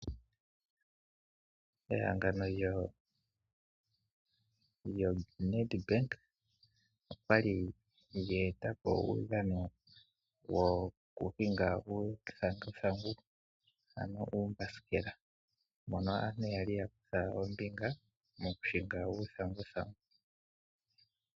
Ehangano lyoNedbank olyali lyeetapo uudhano woku hinga uuthanguthangu ano uumbasikela mono aantu yali yakutha ombinga moku hinga uuthangungu.